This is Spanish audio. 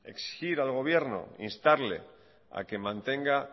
exigir al gobierno instarle a que mantenga